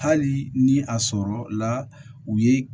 Hali ni a sɔrɔla u ye